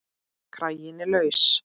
Kraginn er laus.